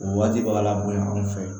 O waati b'a la bonya anw fɛ yan